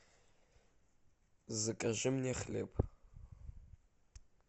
закажи мне хлеб